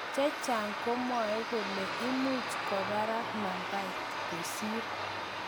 Chechang komwoe kole imuch nambait kwo barak kosir.